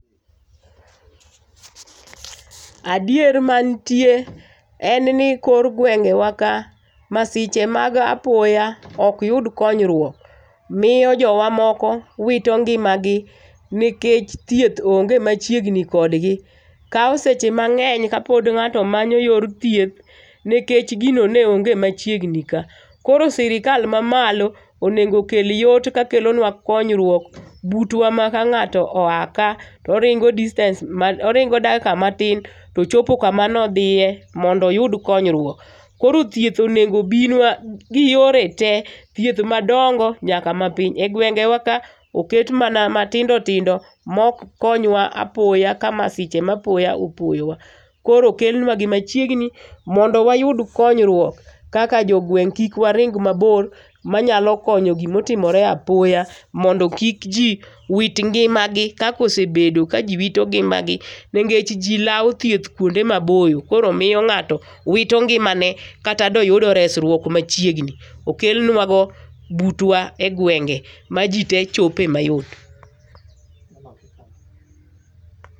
Adier mantie en ni kor gwenge wa ka masiche mag apoya ok yud konyruok miyo jowa moko wito ngimagi nikech thieth onge machiegni kodgi. Kawo seche mang'eny kapod ng'ato manyo yor thieth nikech gino ne onge machiegni ka. Koro sirkal mamalo onego okel yot kakelonua konyruok butwa ma ka ng'ato oa ka to oringo distance oringo dakika matin to chopo kama ne odhiye mondo oyud konyruok. Koro thieth onego obinua gi yore tee, thieth madongo nyaka mapiny egwenge wa ka oket mana matindo tindo ma ok konywa apoya ka masiche ma apoya opoyowa. Koro okel nuagi machiegni mondo wayud konyruok. Kaka jogweng' kik waring mabor manyalo konyo gima otimore apoya mondo kik ji owit ngimagi kaka osebedo ka ji wito ngimagi nikech ji lawo thieth kuonde maboyo koro miyo ng'ato wito ngimane kata da oyudo resruok machiegni. Okel nua go butwa e gwenge majitee chope mayot.